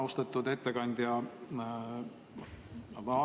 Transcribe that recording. Austatud ettekandja!